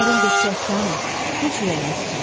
Kərim dedi ki, Əfsanə, heç ürəyini sıxma.